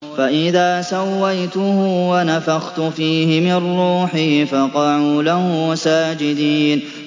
فَإِذَا سَوَّيْتُهُ وَنَفَخْتُ فِيهِ مِن رُّوحِي فَقَعُوا لَهُ سَاجِدِينَ